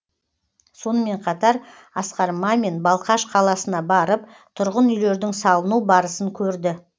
сонымен қатар асқар мамин балқаш қаласына барып тұрғын үйлердің салыну барысын көрді